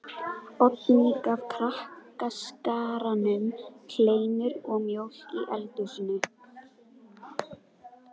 Oddný gaf krakkaskaranum kleinur og mjólk í eldhúsinu.